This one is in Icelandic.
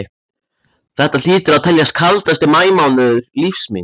Þetta hlýtur að teljast kaldasti maí mánuður lífs míns.